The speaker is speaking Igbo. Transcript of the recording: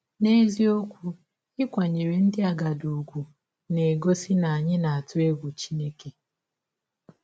N’eziọkwụ, ịkwanyere ndị agadi ụgwụ na - egọsi na anyị na - atụ egwụ Chineke!